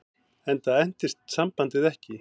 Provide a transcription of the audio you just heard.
Enda entist sambandið ekki.